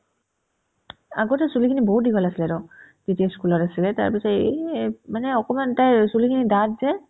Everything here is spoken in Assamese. আগতে চুলিখিনি বহুত দীঘল আছিলেতো যেতিয়া school ত আছিলে তাৰপিছত এই এ অ মানে অকমান তাইৰ চুলিখিনি ডাঠ যে